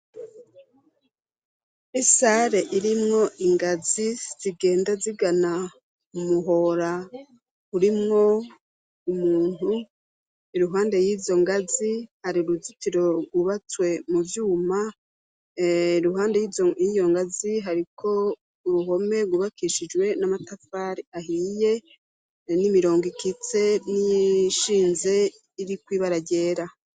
Isare irimwo ingazi zigenda zigana umuhora urimwo umuntu, iruhande y'izo ngazi har' uruzitiro rwubatswe mu vyuma, iruhande y'iyongazi hariko uruhome rwubakishijwe n'amatafari ahiye, n'imirongo ikitse ,n'ishinze irikw'ibara ryera.